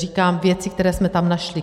Říkám věci, které jsme tam našli.